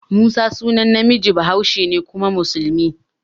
Musa sunan namiji bahaushe ne kuma musulmi.